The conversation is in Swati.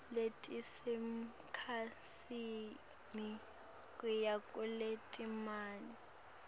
letisemkhatsini kuya kuletimatima